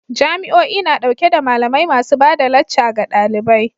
Jami'o'i na dauke da malamai masu ba da lacca ga dalibai